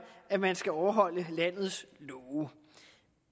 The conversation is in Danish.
at man skal overholde landes love